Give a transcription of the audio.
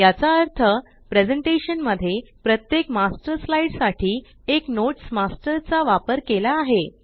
याचा अर्थ प्रेज़ेंटेशन मध्ये प्रत्येक मास्टर स्लाईड साठी एक नोट्स मास्टर चा वापर केला आहे